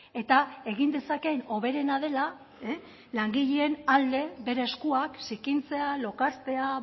eta egin dezakeen hoberena dela langileen alde bere eskuak zikintzea lokaztea